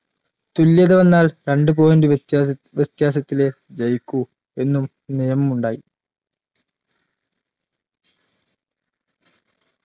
തുല്യത വന്നാൽ രണ്ട് point വ്യത്യാസ വ്യത്യാസത്തിലേ ജയിക്കൂ എന്നും നിയമം ഉണ്ടായി